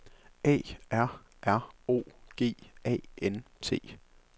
A R R O G A N T